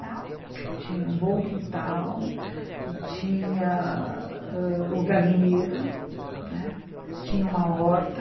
Tinha um bom quintal e tinha ãh o galinheiro, né, tinha uma horta.